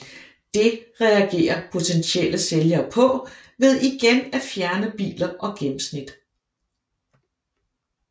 Det reagerer potentielle sælgere på ved igen at fjerne biler og gennemsnit